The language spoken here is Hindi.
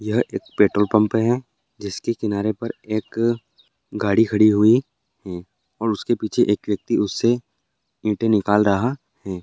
यहा एक पेट्रोल पंप है जिसके किनारे पर एक गाडी खड़ी हुई है और उसके पीछे एक व्यक्ति उससे ईंटे निकल रहा है ।